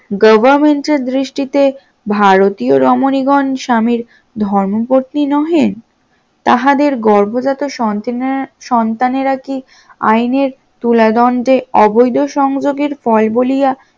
government এর দৃষ্টিতে ভারতীয় রমণীগণ স্বামীর ধর্মপতি নহে, তাহাদের গর্ভজাতক সন্তেনা সন্তানেরা কি আইনের তুলা দন্ডে অবৈধ সংযোগের ফল বলিয়া